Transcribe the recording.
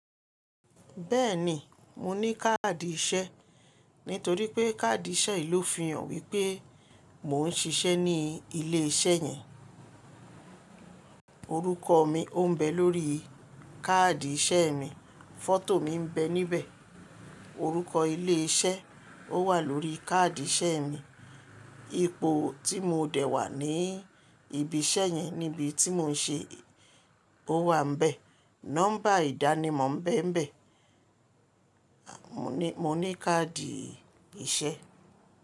Bẹ́ẹ̀ ni, mo ní káàdì ìṣẹ́ nítorí pé káàdì ìṣẹ́ yìí ló fi hàn wípé mò ń ṣiṣẹ́ ní ilé iṣẹ́ yẹn. Orúkọ mi ò ń bẹ lórí káàdì ìṣẹ́ mi, fọ́tò mi ń bẹ níbẹ̀, orúkọ ilé iṣẹ́ ó wà lórí káàdì ìṣẹ́ mi, ipò tí mo dè wà ní ibi iṣẹ́ yẹn níbi tí mò ń ṣe ó wà níbẹ̀, nọ́mbà ìdánimọ̀ ń bẹ níbẹ̀. Mo ní, mo ní káàdì ìṣẹ́.